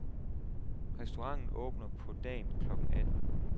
Restauranten åbner på dagen klokken atten.